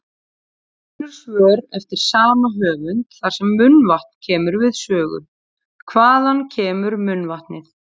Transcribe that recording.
Önnur svör eftir sama höfund þar sem munnvatn kemur við sögu: Hvaðan kemur munnvatnið?